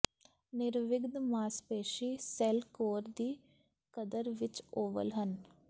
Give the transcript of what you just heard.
ਨਿਰਵਿਘਨ ਮਾਸਪੇਸ਼ੀ cell core ਦੀ ਕਦਰ ਵਿੱਚ ਓਵਲ ਹਨ